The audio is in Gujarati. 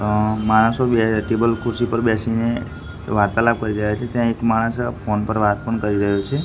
અં માણસો બેહે ટેબલ ખુરશી પર બેસીને વાર્તાલાપ કરી રહ્યા છે ત્યાં એક માણસ ફોન પર વાત પણ કરી રહ્યો છે.